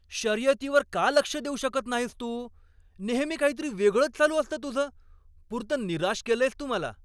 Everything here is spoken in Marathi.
शर्यतीवर का लक्ष देऊ शकत नाहीस तू? नेहमी काहीतरी वेगळंच चालू असतं तुझं. पुरतं निराश केलंयस तू मला.